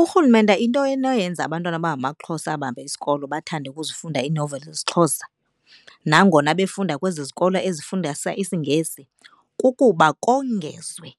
Urhulumente into enoyenza abantwana abangamaXhosa abahamba isikolo bathande ukuzifunda iinoveli zesiXhosa nangona befunda kwezi zikolo ezifundisa isiNgesi kukuba kongezwe